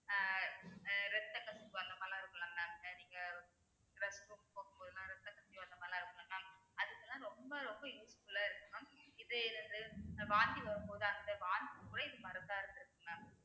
ஆஹ் ரத்தக்கசிவு அந்த மாதிரிலாம் இருக்கும்ல mam அஹ் நீங்க restroom போகும்போதுலாம் ரத்தக்கசிவு அந்த மாதிரிலாம் இருக்கும்ல mam அதுக்கெல்லாம் ரொம்ப ரொம்ப useful ஆ இருக்கும் mam இது என்னது வாந்தி வரும்போது அந்த வாந்~ மருந்தா இருந்துருக்கும் mam